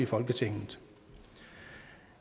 folketinget